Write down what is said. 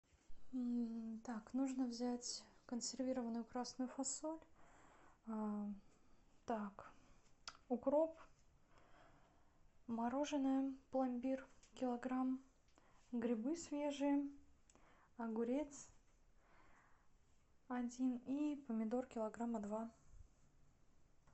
так нужно взять консервированную красную фасоль так укроп мороженое пломбир килограмм грибы свежие огурец один и помидор килограмма два